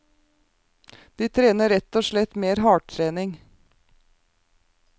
De trener rett og slett mer hardtrening.